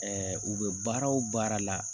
u bɛ baara o baara la